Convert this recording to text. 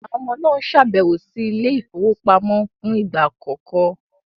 Àwọn ọmọ náà ń ṣàbẹ̀wò sí ilé ìfowópamọ́ fún ìgbà àkọ́kọ́.